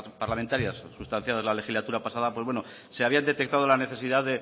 parlamentarias sustanciadas la legislatura pasada pues bueno se había detectado la necesidad